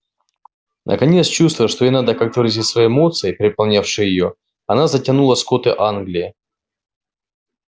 наконец чувствуя что ей надо как-то выразить свои эмоции переполнявшие её она затянула скоты англии